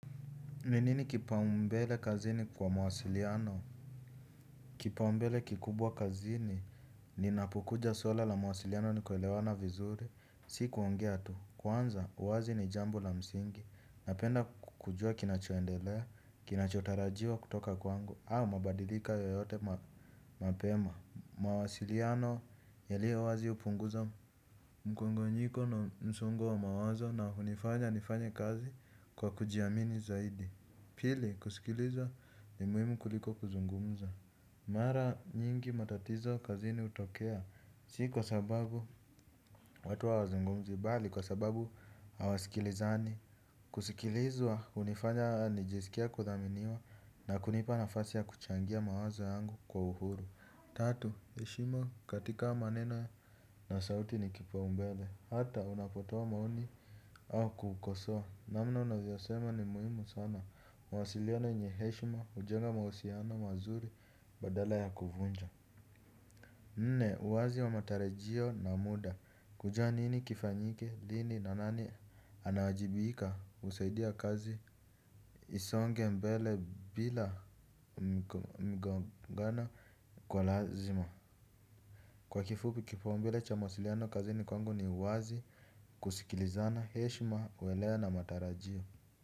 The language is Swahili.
Ni nini kipaumbele kazini kwa mawasiliano? Kipaumbele kikubwa kazini, linapokuja swala la mawasiliano ni kuelewana vizuri. Sikuongea tu. Kwanza, uwazi ni jambo la msingi. Napenda kujua kinacho endelea, kinacho tarajiwa kutoka kwangu, au mabadilika yoyote mapema. Mawasiliano, yaliyo wazi hupunguza mkongonyiko na msongo wa mawazo na hunifanya nifanye kazi kwa kuji amini zaidi. Pili, kusikilizwa ni muhimu kuliko kuzungumza. Mara nyingi matatizo kazini hutokea, si kwa sababu watu hawazungumzi, bali kwa sababu hawasikilizani. Kusikilizwa, hunifanya nijisikie kudhaminiwa na kunipa nafasi ya kuchangia mawazo yangu kwa uhuru. Tatu, heshima katika maneno na sauti ni kipaumbele, hata unapotoa maoni au kukosoa. Namna unavyo sema ni muhimu sana. Mawasiliano yenye heshima hujenga mahusiano mazuri badala ya kuvunja. Nne uwazi wa matarajio na muda. Kujua nini kifanyike lini na nani anawajibika husaidia kazi isonge mbele bila mgongano kwa lazima. Kwa kifupi kipaumbele cha mawasiliano kazini kwangu ni uwazi. Kusikilizana heshima uwelewa na matarajio.